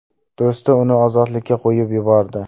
Do‘sti uni ozodlikka qo‘yib yubordi.